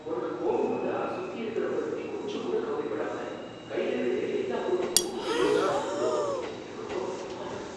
உனக்கு கோபம் வந்தா சுத்தி இருக்குறவங்கள பத்தி கொஞ்சம் கூட கவலப்படாம கையில கிடைக்கிற எல்லாப் பொருளையும் தூக்கி எறியுறத பாக்குறப்ப எனக்கு ரொம்ப பயமா இருக்கு.